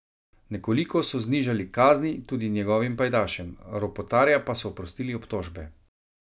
Nekoliko so znižali kazni tudi njegovim pajdašem, Ropotarja pa so oprostili obtožbe.